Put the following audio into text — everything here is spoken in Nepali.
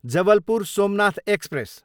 जबलपुर, सोमनाथ एक्सप्रेस